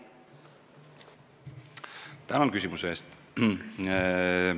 Tänan küsimuse eest!